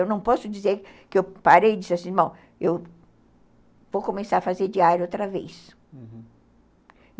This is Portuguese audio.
Eu não posso dizer que eu parei e disse assim, bom, eu vou começar a fazer diário outra vez, uhum.